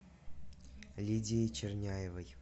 лидией черняевой